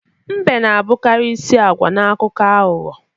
Mbe na-abụkarị isi agwa n'akụkọ aghụghọ.